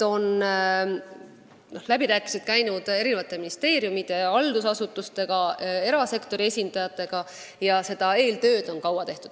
Läbirääkimised on käinud eri ministeeriumide, haldusasutuste ja erasektori esindajatega.